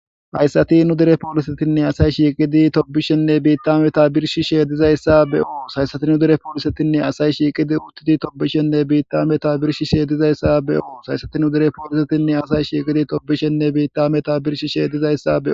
Hayssati nudere poolisetinne asayi shiiqidi tobishenne biittameta birshi sheedizayssa be'oos haysati nudere polisetinne asayi shiiqidi uttiti tobishenne biittameta birshi sheeydizayssa be'oos hayssati nudere poolisetinne asay shiiqidi tobishenne biittameta birshi sheedizayssa be'oos.